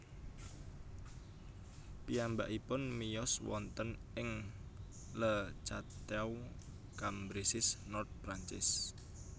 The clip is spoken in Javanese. Piyambakipun miyos wonten ing Le Cateau Cambresis Nord Perancis